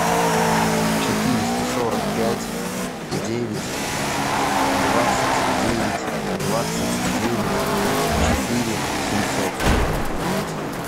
четыреста сорок пять девять двадцать девять двадцать девять четыре семьсот